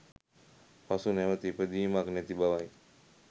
පසු නැවැත ඉපදීමක් නැති බවයි.